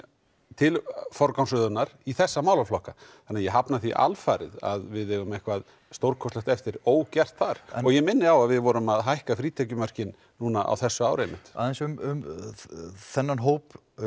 til forgangsröðunar í þessa málaflokka þannig að ég hafna því alfarið að við eigum eitthvað stórkostlegt eftir ógert þar og ég minni á að við vorum að hækka frítekjumarkið núna á þessu ári einmitt aðeins um þennan hóp